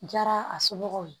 Jara a somɔgɔw ye